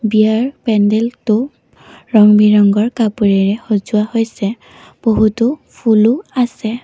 বিয়াৰ পেণ্ডেলটো ৰং বিৰংঙৰ কাপোৰেৰে সজোৱা হৈছে বহুতো ফুলু আছে।